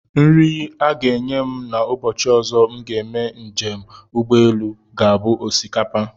Nri a ga-enye m ụbọchị ọzọ m ga-eme njem ụgbọelu ga-abụ osikapa